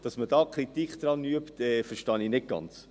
Dass man daran Kritik übt, verstehe ich nicht ganz.